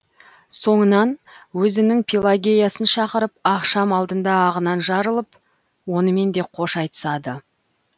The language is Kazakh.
соңынан өзінің пелагеясын шақырып ақшам алдында ағынан жарылып онымен де қош айтысады